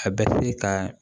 A bɛ se ka